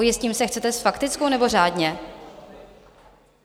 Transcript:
Ujistím se, chcete s faktickou, nebo řádně?